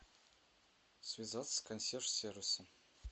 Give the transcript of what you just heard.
связаться с консьерж сервисом